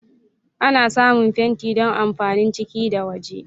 Ana samun fenti don amfanin ciki da waje.